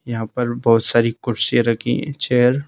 यहाँ पर बहुत सारी कुर्सियां रखी हैं चेयर।